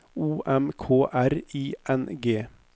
O M K R I N G